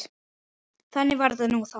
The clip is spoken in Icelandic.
Þannig var þetta nú þá.